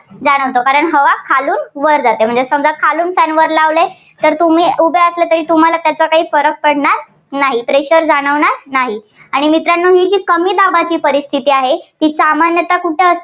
जाणवतं कारण हवा खालून वर जाते. म्हणजे समजा खालून fan वर लावलंय तर तुम्ही उभे असले तरी तुम्हाला त्याचा काही फरक पडणार नाही. pressure जाणवणार नाही. आणि मित्रांनो ही जी कमी दाबाची परिस्थिती आहे, ती सामान्यता कुठे